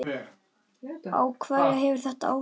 Á hverja hefur þetta áhrif?